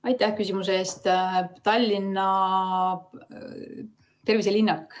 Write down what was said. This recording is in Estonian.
Aitäh küsimuse eest!